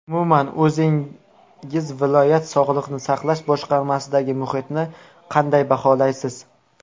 Umuman, o‘zingiz viloyat sog‘liqni saqlash boshqarmasidagi muhitni qanday baholaysiz?